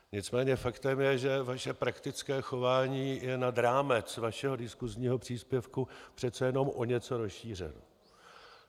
Nicméně faktem je, že vaše praktické chování je nad rámec vašeho diskusního příspěvku přece jenom o něco rozšířeno.